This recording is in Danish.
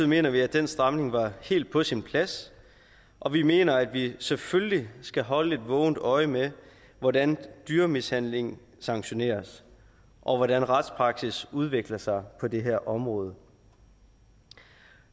mener vi at den stramning var helt på sin plads og vi mener at vi selvfølgelig skal holde et vågent øje med hvordan dyremishandling sanktioneres og hvordan retspraksis udvikler sig på det her område